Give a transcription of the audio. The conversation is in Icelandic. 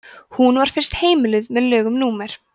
hún var fyrst heimiluð með lögum númer